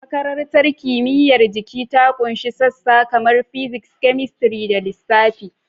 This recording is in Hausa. Makarantar Kimiyyar Jiki ta ƙunshi sassa kamar Physics, Chemistry, da Lissafi.